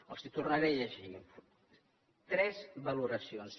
els les tornaré a llegir tres valoracions